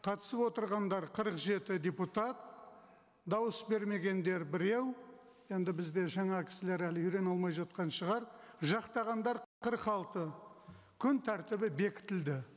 қатысып отырғандар қырық жеті депутат дауыс бермегендер біреу енді бізде жаңа кісілер әлі үйрене алмай жатқан шығар жақтағандар қырық алты күн тәртібі бекітілді